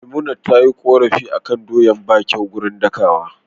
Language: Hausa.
Memunant tayi korafi akan doyar bata kyau gurin dakawa